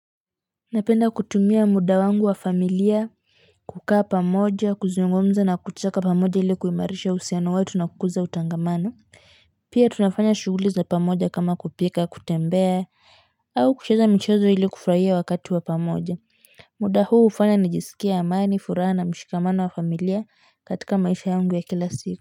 Napenda kutumia muda wangu wa familia, kukaa pamoja, kuzungumza na kuchaka pamoja ili kuimarisha uhusiano wetu na kukuuza utangamano pia tunafanya shughuli za pamoja kama kupika, kutembea, au kucheza michezo ili kufurahia wakati wa pamoja muda huu hufanya nijiskie amani furaha na mshikamano wa familia katika maisha yangu ya kila siku.